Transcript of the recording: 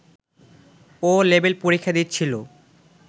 'ও' level পরীক্ষা দিচ্ছিল